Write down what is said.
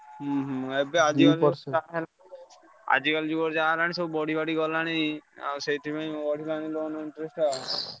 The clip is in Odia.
ହୁଁ ହୁଁ ଏବେ ଅଧିକ ଆଜିକାଲି ଯୁଗରେ ଯାହା ହେଲାଣି ସବୁ ବଢିବାଢି ଗଲାଣି ଆଉ ସେଇଥିପାଇଁ ବଢିଲାଣି loan interest ଆଉ।